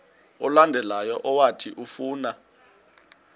olandelayo owathi ufuna